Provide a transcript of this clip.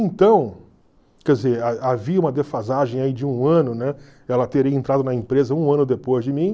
Então, quer dizer, ha havia uma defasagem aí de um ano, ela teria entrado na empresa um ano depois de mim.